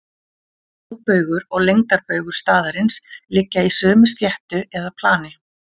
Hábaugur og lengdarbaugur staðarins liggja í sömu sléttu eða plani.